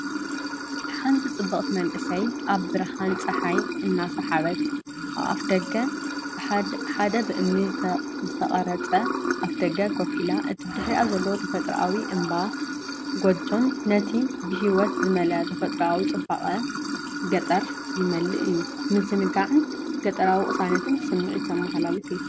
ሓንቲ ጽብቕቲ መንእሰይ፡ ኣብ ብርሃን ጸሓይ እናተሓንበበት፡ ኣብ ኣፍደገ ሓደ ብእምኒ ዝተቖርጸ ኣፍደገ ኮፍ ኢላ፣ እቲ ብድሕሪኣ ዘሎ ተፈጥሮኣዊ እምባን ጎጆን ነቲ ብህይወት ዝመልአ ተፈጥሮኣዊ ጽባቐ ገጠር ይምልእ እዩ። ምዝንጋዕን ገጠራዊ ቅሳነትን ስምዒት ዘመሓላልፍ እዩ።